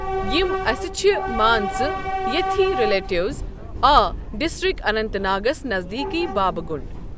یِم اسہِ چھِ مان ژٕ ییٚتھی رِلیٹیٚوز آ ڈسٹرک اننت ناگَس نزدیٖکٕے بابہ گُنڈ۔